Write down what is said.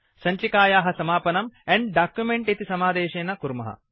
सञ्चिकायाः समापनं end document इति समादेशेन कुर्मः